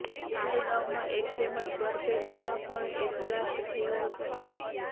તો બોગાઈગાંવમાં એક તેમજ બરપેટામાં પણ એક બ્લાસ્ટ થયો હતો